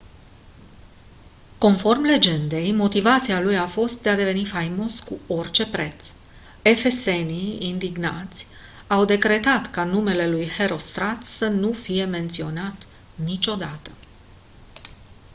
conform legendei motivația lui a fost de a deveni faimos cu orice preț efesenii indignați au decretat ca numele lui herostrat să nu fie menționat niciodată